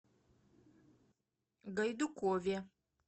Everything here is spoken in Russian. гайдукове